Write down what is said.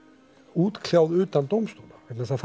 útkljáð utan dómstóla vegna þess að